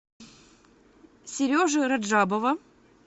сережи раджабова